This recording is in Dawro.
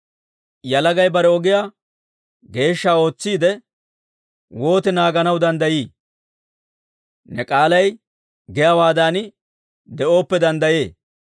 Yalagay bare ogiyaa geeshsha ootsiide wooti naaganaw danddayii? Ne k'aalay giyaawaadan de'ooppe danddayee.